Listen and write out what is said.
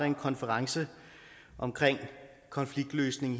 en konference om konfliktløsning